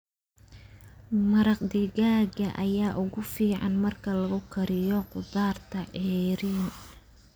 Maraq digaaga ayaa ugu fiican marka lagu kariyo khudaarta ceeriin.